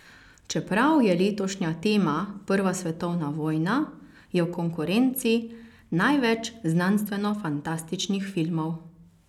Čeprav je letošnja tema prva svetovna vojna, je v konkurenci največ znanstvenofantastičnih filmov.